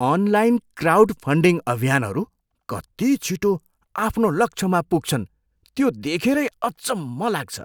Online crowd funding अभियानहरू कति छिटो आफ्नो लक्ष्यमा पुग्छन् त्यो देखेरै अचम्म लाग्छ।